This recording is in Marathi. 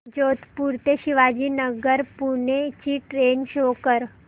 जोधपुर ते शिवाजीनगर पुणे ची ट्रेन शो कर